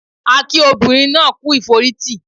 A kí obìnrin náà kú ìforítì